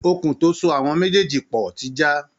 Okùn tó so àwọn méjèèjì pọ̀ ti já